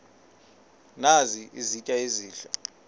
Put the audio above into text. nazi izitya ezihle